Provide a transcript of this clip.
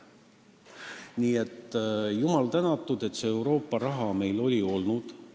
Nii et jumal tänatud, et see Euroopa raha meil on olnud.